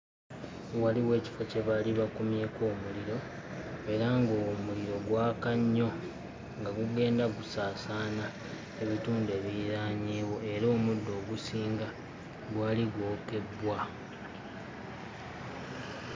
Waliwo ekifo kye baali bakumyeko omuliro era ng'omuliro gwaka nnyo nga gugenda gusaasaana ebitundu ebiriraanyeewo. Era omuddo ogusinga gwali gwokeddwa.